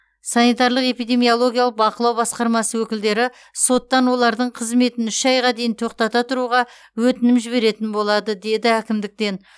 санитарлық эпидемиологиялық бақылау басқармасы өкілдері соттан олардың қызметін үш айға дейін тоқтата тұруға өтінім жіберетін болады деді әкімдіктен